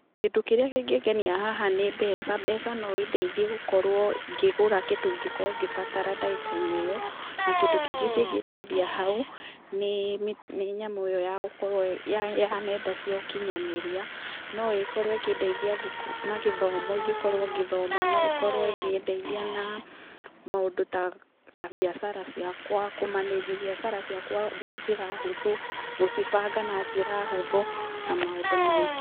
Kĩndũ kĩrĩa kĩngĩngenia haha nĩ mbeca. Mbeca no ĩndeithie gũkorwo ngĩgũra kĩndũ kĩrĩa ingĩkorwo ngĩbatara ndagĩka-inĩ ĩyo. Na kĩndũ kĩngĩ kĩngĩndeithia hau nĩ nyamũ ĩo ya gũkorwo, ya nyenda cia ũkinyanĩria, no ĩkorwo ĩkĩndeithia na gĩthomo ingĩkorwo ngĩthoma, no ĩkĩndeithia na maũndũ ta biacara ciakwa, kũ manage biacara ciakwa na njĩra hũthũ, gũcibanga na njĩra hũthũ na maũndũ maingĩ.